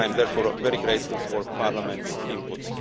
I am therefore very grateful for Parliament's input.